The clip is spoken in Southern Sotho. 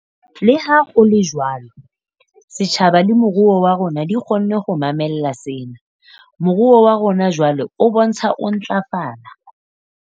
Leha ho le jwalo, setjhaba le moruo wa rona di kgonne ho mamella sena. Moruo wa rona jwale o bontsha ho ntlafala.